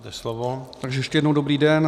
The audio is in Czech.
Takže ještě jednou dobrý den.